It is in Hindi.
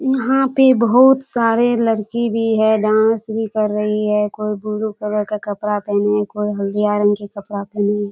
यहाँ पे बहुत सारे लड़की भी है डांस भी कर रही है कोई ब्लू कलर का कपड़ा पहनी है कोई हल्दिया रंग कि कपड़ा पहनी है।